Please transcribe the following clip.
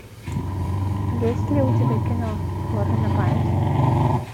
есть ли у тебя кино фото на память